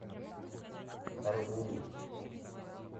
аргун